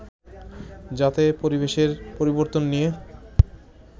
যাতে পরিবেশের পরিবর্তন নিয়ে